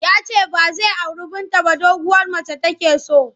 Ya ce ba zai auri Binta ba doguwar mace take so.